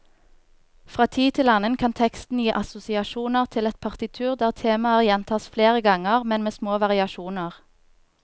Fra tid til annen kan teksten gi assosiasjoner til et partitur der temaer gjentas flere ganger, men med små variasjoner.